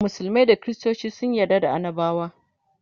musulmai da kristoci sun yarda da annabawa